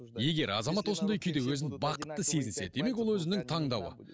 егер азамат осындай күйде өзін бақытты сезінсе демек ол өзінің таңдауы